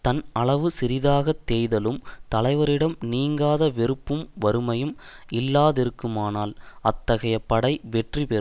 தன் அளவு சிறிதாகத் தேய்தலும் தலைவரிடம் நீங்காத வெறுப்பும் வறுமையும் இல்லாதிருக்குமானால் அத்தகைய படை வெற்றி பெறும்